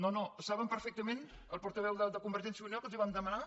no no saben perfectament el portaveu de convergència i unió que els vam demanar